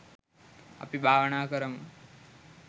අපි භාවනා කරමු